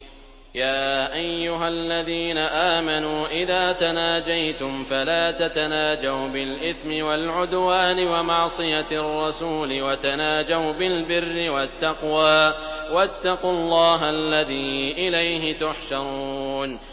يَا أَيُّهَا الَّذِينَ آمَنُوا إِذَا تَنَاجَيْتُمْ فَلَا تَتَنَاجَوْا بِالْإِثْمِ وَالْعُدْوَانِ وَمَعْصِيَتِ الرَّسُولِ وَتَنَاجَوْا بِالْبِرِّ وَالتَّقْوَىٰ ۖ وَاتَّقُوا اللَّهَ الَّذِي إِلَيْهِ تُحْشَرُونَ